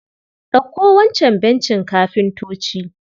Ɗauko wancan bencin kafintoci.